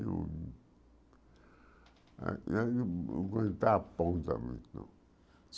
Eu na na não ponta, não.